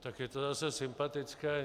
Tak je to zase sympatické.